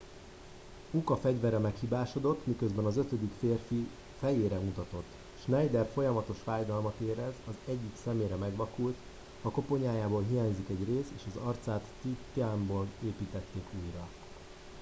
uka fegyvere meghibásodott miközben az ötödik férfi fejére mutatott schneider folyamatos fájdalmat érez az egyik szemére megvakult a koponyájából hiányzik egy rész és az arcát titánból építették újra